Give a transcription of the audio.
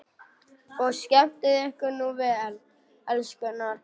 Og skemmtið ykkur nú vel, elskurnar!